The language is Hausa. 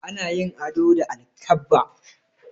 Ana yin ado da alkabba.